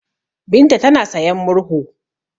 Binta tana sayan murhu.